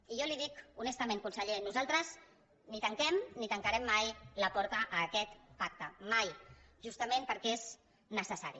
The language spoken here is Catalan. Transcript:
i jo li dic honestament conseller que nosaltres ni tanquem ni tancarem mai la porta a aquest pacte mai justament perquè és necessari